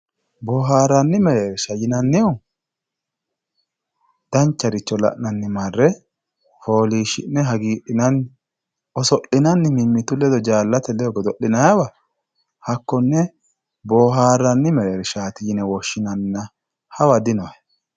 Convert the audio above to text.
boohaarranni mereersha yinannihu dancharicho la'nanni marre fooliishshi'ne hagiidhinanni oso'linanni mimmitu ledo jaallate ledo godo'linanniwa hakkonne boohaarranni mereershaati yine woshshinannina hawa dinohe.